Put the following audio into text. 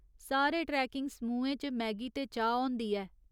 सारे ट्रैकिंग समूहें च मैगी ते चाह् होंदी ऐ।